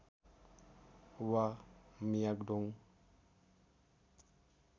वा मियाग दोङ